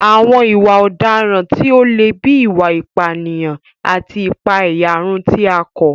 Àwọn ìwà ọ̀daràn tí ó le bíi ìwà ìpànìyàn àti ìpàẹ̀yàrun tí a kọ̀